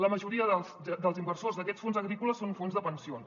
la majoria dels inversors d’aquests fons agrícoles són fons de pensions